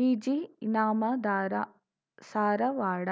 ವಿಜಿಇನಾಮದಾರ Sarawad